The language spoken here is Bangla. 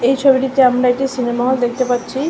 এই ছবিটাতে আমরা একটি সিনেমা হল দেখতে পাচ্ছি।